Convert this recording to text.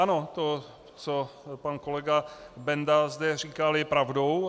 Ano, to, co pan kolega Benda zde říkal, je pravdou.